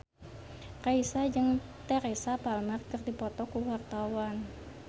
Raisa jeung Teresa Palmer keur dipoto ku wartawan